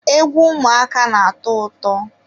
egwu ụmụaka na-atọ ụtọ.